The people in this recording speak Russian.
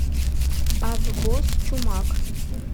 аббос чумак